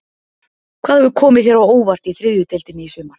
Hvað hefur komið þér á óvart í þriðju deildinni í sumar?